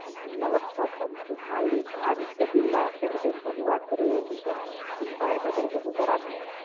નમસ્કાર સર, હું આદિત્ય બિરલા કપિટલ્સમાંથી વાત કરી રહ્યો છું, સર. શું સહાયતા કરી કરી શકું સર આપની?